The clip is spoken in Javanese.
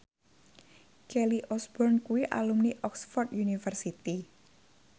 Kelly Osbourne kuwi alumni Oxford university